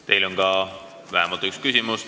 Teile on vähemalt üks küsimus.